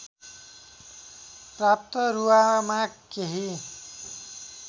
प्राप्त रुवामा केही